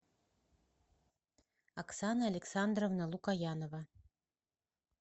оксана александровна лукоянова